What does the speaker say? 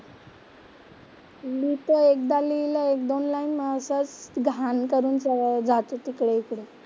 लिहितो, एकदा लिहिलंय, एक दोन लाइन असंच घाण करून सगळं जातो तिकडे इकडे.